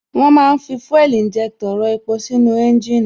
Wón ma ń fi fuel injector rọ epo sínú ẹ́ńjìnì